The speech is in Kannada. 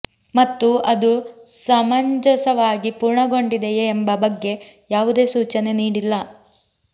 ಮತ್ತು ಅದು ಸಮಂಜಸವಾಗಿ ಪೂರ್ಣಗೊಂಡಿದೆಯೆ ಎಂಬ ಬಗ್ಗೆ ಯಾವುದೇ ಸೂಚನೆ ನೀಡಿಲ್ಲ